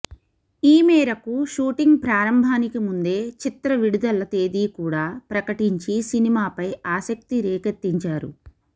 ఈ మేరకు షూటింగ్ ప్రారంభానికి ముందే చిత్ర విడుదల తేదీ కూడా ప్రకటించి సినిమాపై ఆసక్తిరేకెత్తించారు